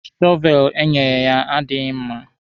Shọveelụ enyere ya adịghị mma.